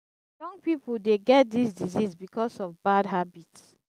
young people dey get this disease because of bad habits.